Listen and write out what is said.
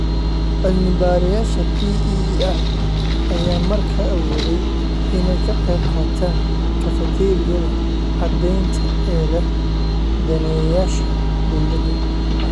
Cilmi-baarayaasha PEER ayaa markaa awooday inay ka qaybqaataan kafateeriyada caddaynta ee leh daneeyayaasha dawladda.